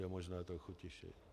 Je možno trochu tišeji..?